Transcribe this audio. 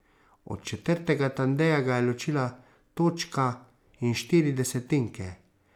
Od četrtega Tandeja ga je ločila točka in štiri desetinke.